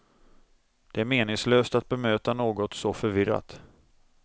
Det är meningslöst att bemöta något så förvirrat.